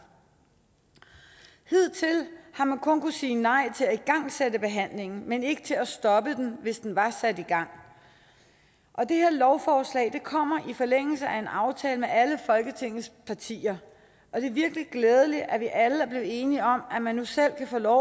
hidtil har man kun kunnet sige nej til at igangsætte behandlingen men ikke til at stoppe den hvis den var sat i gang det her lovforslag kommer i forlængelse af en aftale mellem alle folketingets partier og det er virkelig glædeligt at vi alle er blevet enige om at man nu selv kan få lov